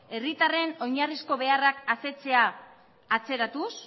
herritarren oinarrizko beharrak asetzea atzeratuz